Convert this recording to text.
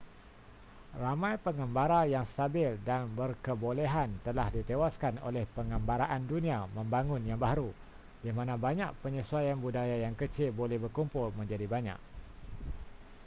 ramai pengembara yang stabil dan berkebolehan telah ditewaskan oleh pengembaraan dunia membangun yang baharu di mana banyak penyesuaian budaya yang kecil boleh berkumpul menjadi banyak